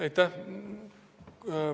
Aitäh!